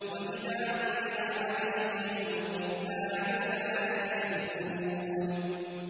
وَإِذَا قُرِئَ عَلَيْهِمُ الْقُرْآنُ لَا يَسْجُدُونَ ۩